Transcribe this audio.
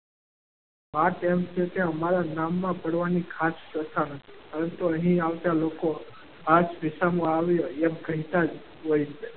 વાત એમ છે કે અમારા નામમાં ખાસ પડવાની ખાસ પ્રથા નથી. પરંતુ અહીં આવતા લોકો આ જ વિસામો આવ્યો એમ કહેતા જ,